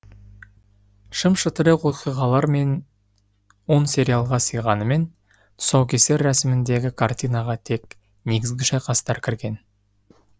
шым шытырық оқиғалар он сериалға сыйғанымен тұсаукесер рәсіміндегі картинаға тек негізгі шайқастар кірген